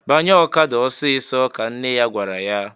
"Banye okada ọsịịsọ!" ka nne ya gwara ya.